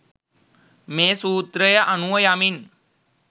මේ සූත්‍රය අනුව යමින්